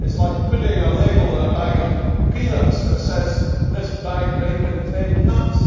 It is like putting a label on a bag of peanuts that says This bag may contain nuts'.